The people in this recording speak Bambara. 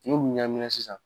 N'u ɲaamina sisan